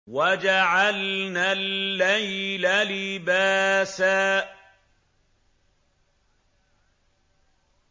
وَجَعَلْنَا اللَّيْلَ لِبَاسًا